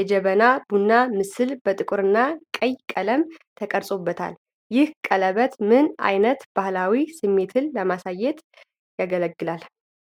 የጀበና ቡና ምስል በጥቁርና ቀይ ቀለም ተቀርጾበታል። ይህ ቀለበት ምን ዓይነት ባህላዊ ስሜትን ለማሳየት ያገለግላል?